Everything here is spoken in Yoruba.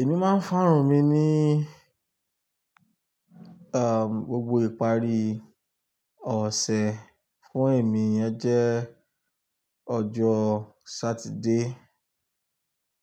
Èmi máa ń fárùn mi ni, um, gbogbo ìparí ọ̀sẹ̀ fún èmi yen jẹ́ ọjọ́ Sátidé.